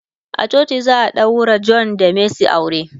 a coci za'a daurawa John da mercy aure.